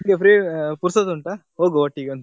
ಈಗ free ಪುರ್ಸೋತು ಉಂಟಾ ಹೋಗುವ ಒಟ್ಟಿಗೆ ಒಂದು.